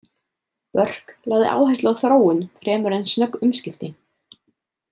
Burke lagði áherslu á þróun fremur en snögg umskipti.